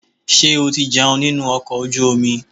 Ṣé o ti jẹun nínú ọkọ̀ ojú omi?